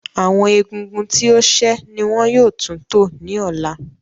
Awọn ègúngún tí o ṣẹ ni wọn yóò tún tó ní òlà.